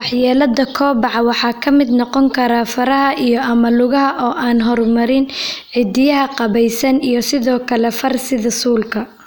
Waxyeellada kobaca waxa ka mid noqon kara faraha iyo/ama lugaha oo aan horumarin, ciddiyaha qaabaysan, iyo sidoo kale far sida suulka.